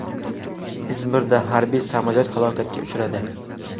Izmirda harbiy samolyot halokatga uchradi.